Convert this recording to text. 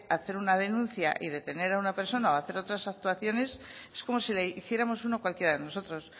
hacer una denuncia y detener a una persona o a hacer otras actuaciones es como si la hiciéramos uno cualquiera de nosotros